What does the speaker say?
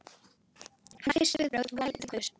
Hans fyrstu viðbrögð voru að leita til Guðs.